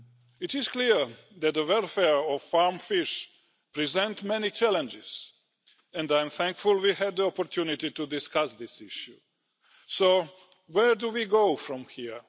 It is clear that the welfare of farm fish presents many challenges and I am thankful we had the opportunity to discuss this issue. So where do we go from here?